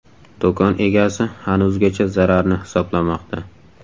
Do‘kon egasi hanuzgacha zararni hisoblamoqda.